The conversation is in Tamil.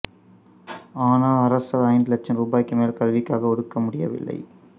ஆனால் அரசால் ஐந்து லட்சம் ரூபாய்க்கு மேல் கல்விக்காக ஒதுக்க முடியவில்லை